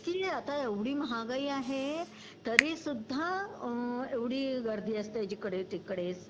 कि आता एव्हडी महागाई आहे तरीसुद्धा अ एव्हडी गर्दी असते जिकडे तिकडे